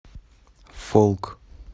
фолк